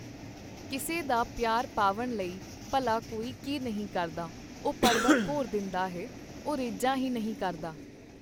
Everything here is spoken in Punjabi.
ਕਿਸੇ ਦਾ ਪਿਆਰ ਪਾਵਣ ਲਈ ਭਲਾ ਕੋਈ ਕੀ ਨਹੀਂ ਕਰਦਾ, ਉਹ ਪਰਬਤ ਭੋਰ ਦਿੰਦਾ ਹੈ ਉਹ ਰੀਝਾਂ ਹੀ ਨਹੀਂ ਕਰਦਾ